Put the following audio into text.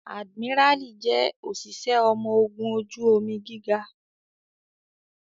Adimirali jẹ́ òṣìṣẹ́ ọmọ ogun ojú omi gíga